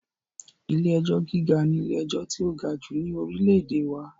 Ilé-ẹjọ gíga ní ilé-ẹjọ tí o ga jù ni orílè-èdè wà